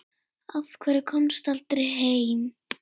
Af hverju komstu aldrei heim?